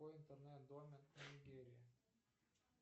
какой интернет домен у нигерии